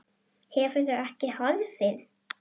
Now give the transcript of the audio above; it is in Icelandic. Hefur ekki horfið.